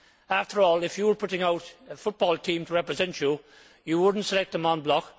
After all, if you were putting out a football team to represent you, you would not select them en bloc.